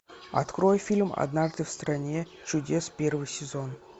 открой фильм однажды в стране чудес первый сезон